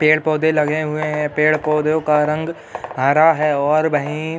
पेड़ पौधा लगे हुए हैं। पेड़ पौधों का रंग हरा है और वहीं --